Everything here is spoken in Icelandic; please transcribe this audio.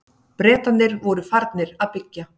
Bretarnir voru farnir að byggja.